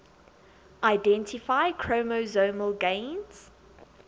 identify chromosomal gains